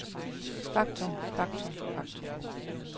faktum faktum faktum